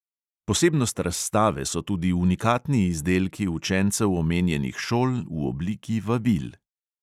Posebnost razstave so tudi unikatni izdelki učencev omenjenih šol v obliki vabil.